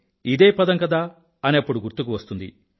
ఇదే పదం కదా అని అప్పుడు గుర్తుకు వస్తుంది